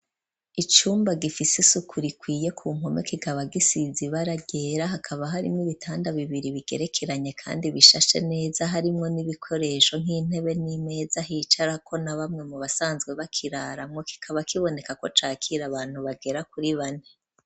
Icumba gifise isuku rikwiye ku mpome kigabagisizibaragera hakaba harimwo ibitanda bibiri bigerekeranye kandi bishashe neza harimwo n'ibikoresho nk'intebe n'imeza hicara ko na bamwe mu basanzwe bakiraramwo kikaba kiboneka ko cakira abantu bagera kuri bane.